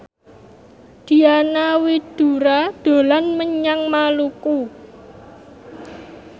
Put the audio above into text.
Diana Widoera dolan menyang Maluku